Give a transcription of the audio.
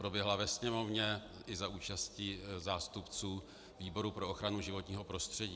Proběhla ve Sněmovně i za účasti zástupců výboru pro ochranu životního prostředí.